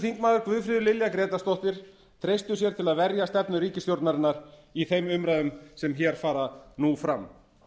þingmaður guðfríður lilja grétarsdóttir treystu sér til að verja stefnu ríkisstjórnarinnar í þeim umræðum sem hér fara nú fram